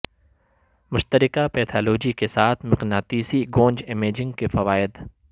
مشترکہ پیتھالوجی کے ساتھ مقناطیسی گونج امیجنگ کے فوائد